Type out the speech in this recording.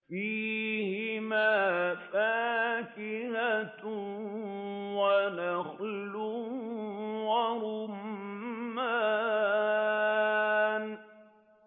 فِيهِمَا فَاكِهَةٌ وَنَخْلٌ وَرُمَّانٌ